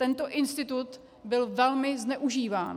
Tento institut byl velmi zneužíván.